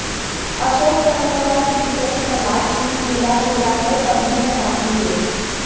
अशोक तंवर व सीपीएस प्रहलाद सिंह गिल्लाखेड़ा को पगड़ी पहनाते हुए